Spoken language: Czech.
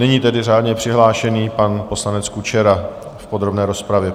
Nyní tedy řádně přihlášený pan poslanec Kučera v podrobné rozpravě.